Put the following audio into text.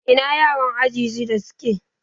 Ina yaran aji shiɗa suke?